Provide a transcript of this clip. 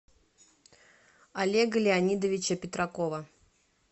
олега леонидовича петракова